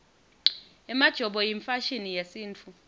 emajobo yimfashini yesintfu